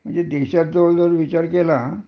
म्हणजे देशात जवळ जवळ विचार केला